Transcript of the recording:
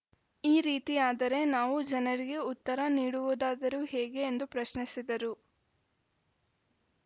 ಈ ರೀತಿಯಾದರೆ ನಾವು ಜನರಿಗೆ ಉತ್ತರ ನೀಡುವುದಾದರೂ ಹೇಗೆ ಎಂದು ಪ್ರಶ್ನಿಸಿದರು